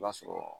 I b'a sɔrɔ